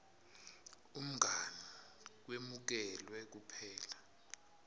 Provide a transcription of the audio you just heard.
umngani kwemukelwe kuphela